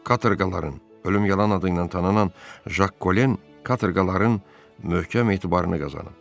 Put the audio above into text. Katorqaların, ölüm yalan adı ilə tanınan Jak Kolen katorqaların möhkəm etibarını qazanıb.